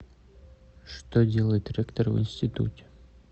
что делает ректор в институте